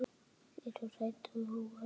Þau eru hrædd og óörugg.